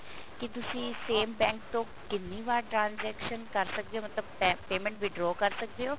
ਕੀ ਤੁਸੀਂ same bank ਤੋਂ ਕਿੰਨੀ ਵਾਰ transaction ਕਰ ਸਕਦੇ ਹੋ ਮਤਲਬ payment withdraw ਕਰ ਸਕਦੇ ਹੋ